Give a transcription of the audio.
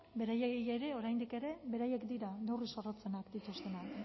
beraiei ere oraindik ere beraiek dira neurri zorrotzenak dituztenak